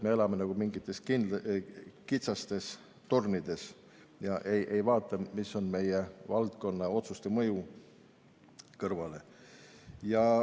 Me elame nagu mingites kitsastes tornides ega vaata, mis on meie valdkonna otsuste laiem mõju.